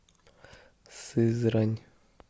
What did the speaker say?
сызрань